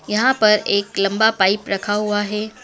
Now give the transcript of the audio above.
यहां पर एक लम्बा पाइप रखा हुआ हैं।